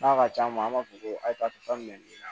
N'a ka can ma an b'a fɔ ko ayi tan nin na